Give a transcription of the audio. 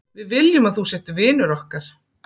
Við viljum að þú sért vinur okkar.